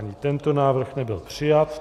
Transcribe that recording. Ani tento návrh nebyl přijat.